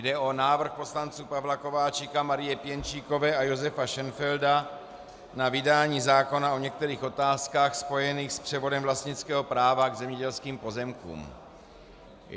Jde o návrh poslanců Pavla Kováčika, Marie Pěnčíkové a Josefa Šenfelda na vydání zákona o některých otázkách spojených s převodem vlastnického práva k zemědělským pozemkům.